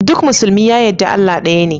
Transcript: Duk musulmi ya yadda Allah ɗaya ne.